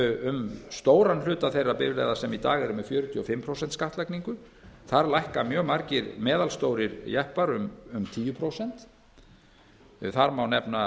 um stóran hluta þeirra bifreiða sem í dag eru með fjörutíu og fimm prósent skattlagningu þar lækka mjög margir meðalstórir jeppar um tíu prósent þar má nefna